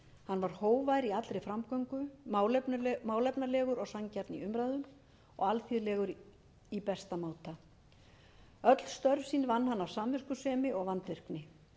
hann var hógvær í allri framgöngu málefnalegur og sanngjarn í umræðum og alþýðlegur í besta máta öll störf sín vann hann af samviskusemi og vandvirkni